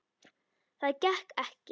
Það gekk ekki